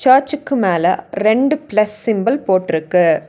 சர்ச்சுக்கு மேல ரெண்டு பிளஸ் சிம்புல் போட்டுருக்கு.